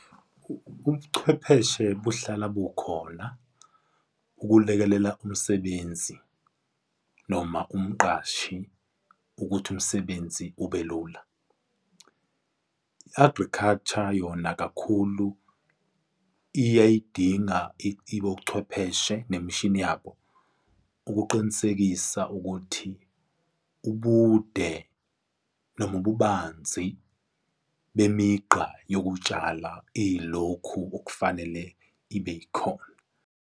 Ubuchwepheshe buhlala bukhona ukulekelela umsebenzi noma umqashi ukuthi umsebenzi ubelula. I-agriculture yona kakhulu iyayidinga ibochwepheshe nemishini yabo, ukuqinisekisa ukuthi ubude noma ububanzi memigqa yokutshala, iyilokhu okufanele ibe yikhona.